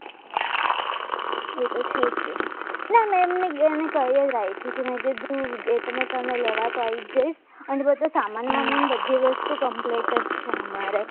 એ તો છે એમને કંઈ રાખ્યું છે મેં કીધું તમને લેવા આવી જઈશ અને બધો સામાન બધી વસ્તુ compete જ છે અમારે